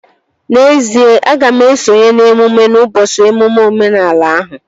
N'ezie, aga m esonye n'emume ụbọchị emume omenala ahụ